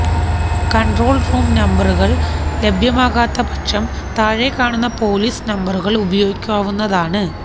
control room നമ്പറുകള് ലഭ്യമാകാത്ത പക്ഷം താഴെ കാണുന്ന പൊലീസ് നമ്പറുകള് ഉപയോഗിക്കാവുന്നതാണ്